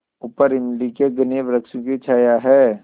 ऊपर इमली के घने वृक्षों की छाया है